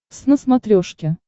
твз на смотрешке